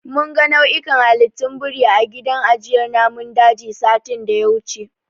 Mun ga nau'ikan halittun biri a gidan ajiyar namun dajin, satin da ya wuce.